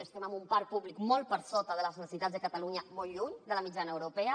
estem amb un parc públic molt per sota de les necessitats de catalunya molt lluny de la mitjana europea